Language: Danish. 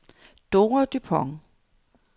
Dora Dupont